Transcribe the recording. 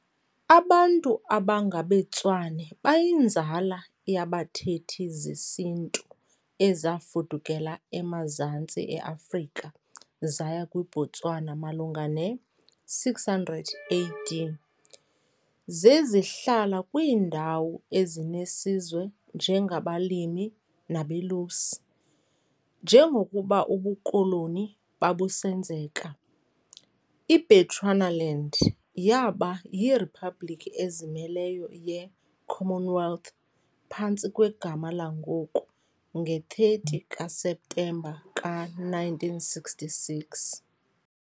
Abantu abangabeTswana bayinzala yabathethi zesiNtu ezafudukela emazantsi e-Afrika zaya kwiBotswana malunga ne-600 AD, zezihlala kwiindawo ezinesizwe njengabalimi nabelusi. Njengokuba ubuKoloni babusenzeka, iBechuanaland yaba yiriphabliki ezimeleyo ye-Commonwealth phantsi kwegama langoku nge-30 kaSeptemba ka-1966.